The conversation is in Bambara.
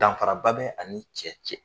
Danfaraba bɛ ani ni cɛ cɛ